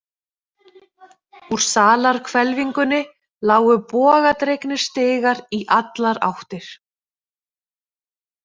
Úr salarhvelfingunni lágu bogadregnir stigar í allar áttir.